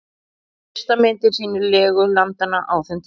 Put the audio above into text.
Fyrsta myndin sýnir legu landanna á þeim tíma.